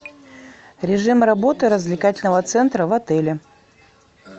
режим работы развлекательного центра в отеле